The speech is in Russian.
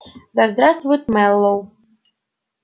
да здравствует мэллоу